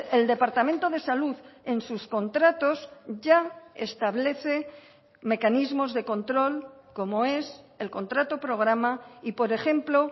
el departamento de salud en sus contratos ya establece mecanismos de control como es el contrato programa y por ejemplo